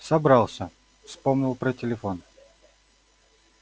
собрался вспомнил про телефон